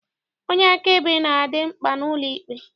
Onye akaebe na-adị mkpa n'ụlọikpe.